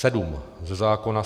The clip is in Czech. Sedm ze zákona.